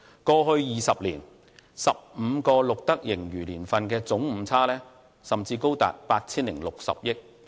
過去20年 ，15 個錄得盈餘年份的總誤差甚至高達 8,060 億元。